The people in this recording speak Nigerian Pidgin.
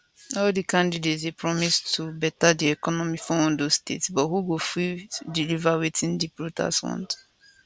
all di candidates dey promise to beta di economy for ondo state but who go fit deliver wetin di voters want